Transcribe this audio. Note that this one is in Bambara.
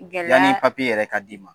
Yanni papye yɛrɛ ka d'i ma